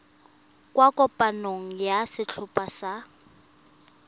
kwa kopanong ya setlhopha sa